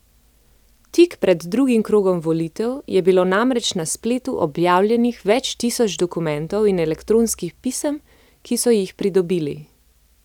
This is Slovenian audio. Tik pred drugim krogom volitev je bilo namreč na spletu objavljenih več tisoč dokumentov in elektronskih pisem, ki so jih pridobili.